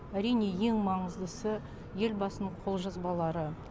әрине ең маңыздысы елбасының қолжазбалары